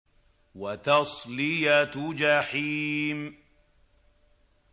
وَتَصْلِيَةُ جَحِيمٍ